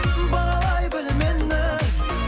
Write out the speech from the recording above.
бағалай біл мені